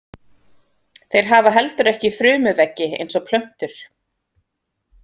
Þeir hafa heldur ekki frumuveggi eins og plöntur.